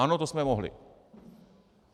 Ano, to jsme mohli.